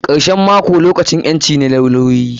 Karshen mako lokacin ƴanci ne na lawyoyi.